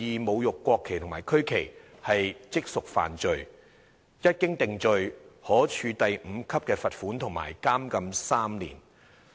侮辱國旗及國徽，即屬犯罪"，一經定罪，"可處第5級罰款及監禁3年"。